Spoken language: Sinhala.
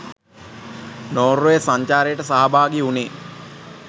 නෝර්වේ සංචාරයට සහභාගී වුනේ.